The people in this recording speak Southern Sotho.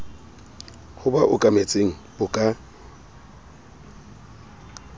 ho ba okametseng bo ka